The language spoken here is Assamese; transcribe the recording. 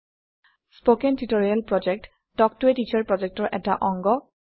স্পকেন টিউটৰিয়েল প্ৰকল্প তাল্ক ত a টিচাৰ প্ৰকল্পৰ এটা অংগ